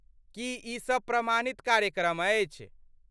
की ई सब प्रमाणित कार्यक्रम अछि?